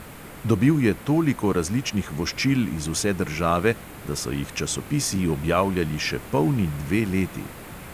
Dobil je toliko različnih voščil iz vse države, da so jih časopisi objavljali še polni dve leti.